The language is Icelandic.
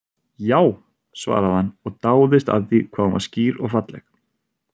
Já, svaraði hann og dáðist að því hvað hún var skýr og falleg.